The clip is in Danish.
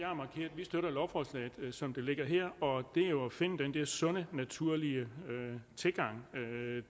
at vi støtter lovforslaget som det ligger her og det er jo at finde den der sunde naturlige tilgang